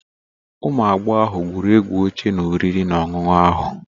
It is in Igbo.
Ụmụ agbọghọ ahụ gwụrụ egwu oche na oriri na ọṅụṅụ ahụ.